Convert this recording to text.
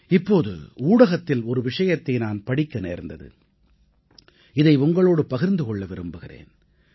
இப்போது ஊடகத்தில் ஒரு விஷயத்தை நான் படிக்க நேர்ந்தது இதை உங்களோடு பகிர்ந்து கொள்ள விரும்புகிறேன்